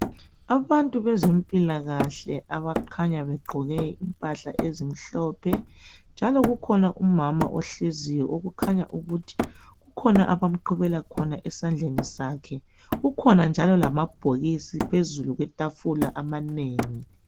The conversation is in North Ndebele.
Abantu bezempilakahle abakhanya begqoke impahla ezimhlophe njalo kukhona umama ohleziyo okukhanya ukuthi kukhona abamqhubela khona esandleni sakhe. Kukhona njalo lamabhokisi phezulu kwetafula amanengi.